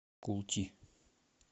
култи